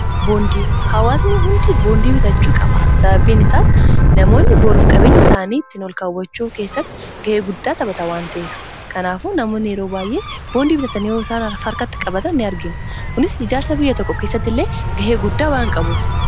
Boondii hawaasnii hundi boondii bitachuu qaba sababiin isaas namoonni booruf-qabenya isaanii ittiin ol kaawwachuu keessatti ga'ee guddaa taphata waan ta'ef kanaafu namoonni yeroo waayyee boondii bitaatanioo isaan farkatti qabata in argina kunis ijaarsa biyya tokko keessatti illee ga'ee guddaa waan qabuuf.